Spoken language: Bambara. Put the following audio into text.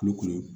Kulo kɔnɔ